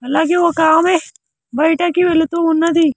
అలాగే ఒక ఆమె బయటకి వెళ్తూ ఉన్నది .